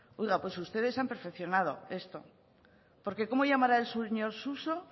oiga pues ustedes han perfeccionado esto porque cómo llamará el señor suso